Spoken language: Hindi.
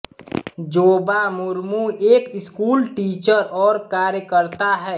जोबा मुर्मु एक स्कूल टीचर और कार्यकर्ता हैं